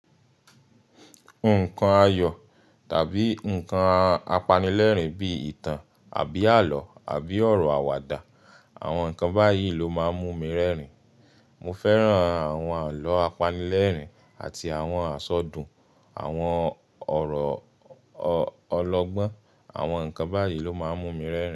Nǹkan ayọ̀ tàbí nǹkan apanilẹ́rìn bí i ìtàn àbí àlọ́ àbí ọ̀rọ̀ àwàdà, àwọn nǹkan báyìí ló máa ń mú mi rẹ́rìn-ín. Mo fẹ́ràn àwọn àlọ́ apanilẹ́rìn àti àwọn àṣọdùn, àwọn ọ̀rọ̀ ọlọgbọ́n, àwọn nǹkan báyìí ló máa ń mú mi rẹ́rìn-ín.